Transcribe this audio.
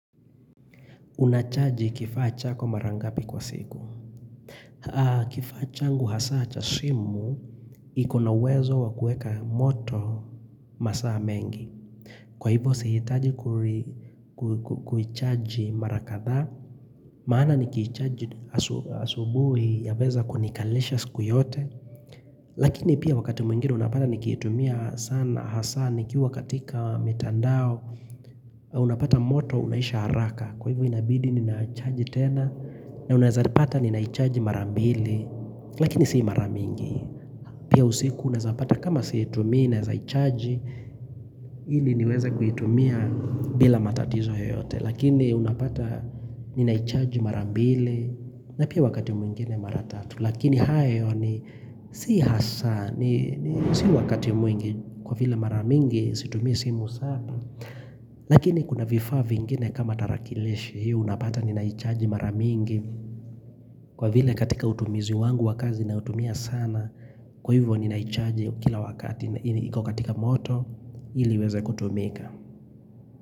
Unachaji kifaa chako mara ngapi kwa siku. Kifaa changu hasa cha simu, iko na uwezo wa kueka moto masaa mengi. Kwa hivyo sihitaji kuicharge mara kadhaa. Maana nikicharge asubuhi yaweza kunikalisha siku yote. Lakini pia wakati mwingine unapata nikitumia sana hasa nikiwa katika mitandao. Unapata moto unahisha haraka. Kwa hivyo inabidi ninaicharge tena na unazapata ninaicharge mara mbili Lakini si mara mingi Pia usiku unazapata kama siitumi naezaicharge ili niweza kuitumia bila matatizo yoyote Lakini unapata ninaicharge mara mbili na pia wakati mwingine mara tatu Lakini hayo ni si hasa ni si wakati mwingi kwa vile mara mingi situmi simu sana Lakini kuna vifaa vingine kama tarakilishi Hii unapata ninaichaji mara mingi kwa vile katika utumizi wangu wakazi nautumia sana kwa hivyo ninaichaji kila wakati na iko katika moto hili iweze kutumika.